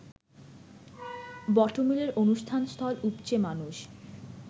বটমূলের অনুষ্ঠানস্থল উপচে মানুষ